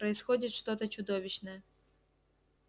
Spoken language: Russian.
происходит что-то чудовищное